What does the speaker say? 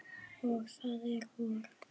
Og það er vor.